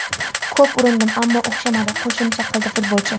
Ko‘p urindim, ammo o‘xshamadi”, qo‘shimcha qildi futbolchi.